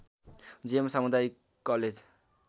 जियम सामुदायिक कलेज